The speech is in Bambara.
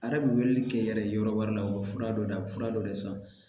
A yɛrɛ bɛ weleli kɛ yɛrɛ ye yɔrɔ wɛrɛ la u bɛ fura dɔ ta a bɛ fura dɔ de san